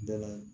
Dɛmɛ